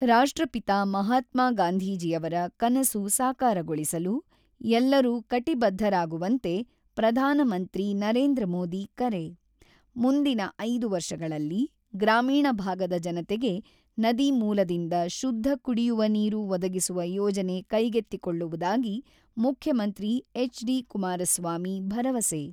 ರಾಷ್ಟ್ರಪಿತ ಮಹಾತ್ಮಾ ಗಾಂಧೀಜಿಯವರ ಕನಸು ಸಾಕಾರಗೊಳಿಸಲು ಎಲ್ಲರೂ ಕಟಿಬದ್ದರಾಗುವಂತೆ ಪ್ರಧಾನಮಂತ್ರಿ ನರೇಂದ್ರ ಮೋದಿ ಕರೆ, "ಮುಂದಿನ 5 ವರ್ಷಗಳಲ್ಲಿ ಗ್ರಾಮೀಣ ಭಾಗದ ಜನತೆಗೆ ನದಿ ಮೂಲದಿಂದ ಶುದ್ಧ ಕುಡಿಯುವ ನೀರು ಒದಗಿಸುವ ಯೋಜನೆ ಕೈಗೆತ್ತಿಕೊಳ್ಳುವುದಾಗಿ ಮುಖ್ಯಮಂತ್ರಿ ಎಚ್.ಡಿ.ಕುಮಾರಸ್ವಾಮಿ ಭರವಸೆ